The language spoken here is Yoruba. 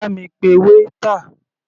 Bá mi pe waiter.